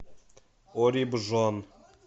орибжон